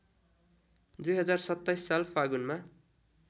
२०२७ साल फागुनमा